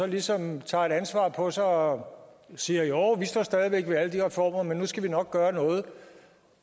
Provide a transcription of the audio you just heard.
ligesom tager et ansvar på sig og siger jo vi står stadig væk ved alle de reformer men nu skal vi nok gøre noget